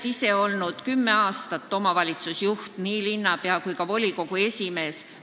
Ma olen olnud kümme aastat omavalitsusjuht, nii linnapea kui ka volikogu esimees.